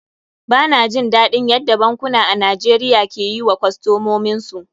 Ba na jin daɗin yadda bankuna a Najeriya ke yi wa kostomin su.